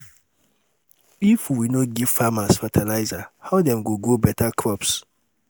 if we no give farmers fertilizer how dem go grow beta crops?